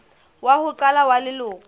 wa ho qala wa leloko